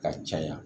Ka caya